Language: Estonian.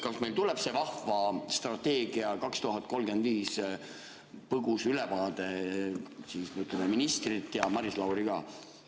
Kas meil tuleb see vahva strateegia 2035 põgus ülevaade ministrilt ja Maris Lauri ka?